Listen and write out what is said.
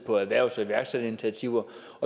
på erhvervs og iværksætterinitiativer